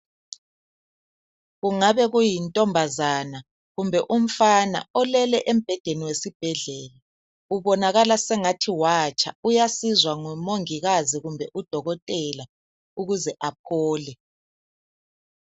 Kungabe kuyintombazana kumbe umfana olele embhedeni wesibhedlela ubonakala sengathi watsha uyasizwa ngomongikazi kumbe udokotela ukuze aphole